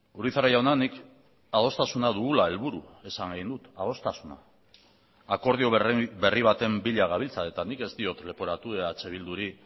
urizar jauna nik adostasuna dugula helburu esan nahi dut adostasuna akordio berri baten bila gabiltza eta nik ez diot leporatu eh bilduri